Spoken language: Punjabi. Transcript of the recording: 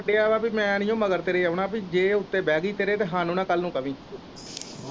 ਵਾ ਕਿ ਮੈਂ ਨੀ ਮਗਰ ਤੇਰੇ ਆਉਣਾ ਜੇ ਇਹ ਉੱਤੇ ਬੈ ਗਈ ਤੇਰੇ ਸਾਨੂੰ ਨਾ ਕੱਲ ਨੂੰ ਕਵੀਂ।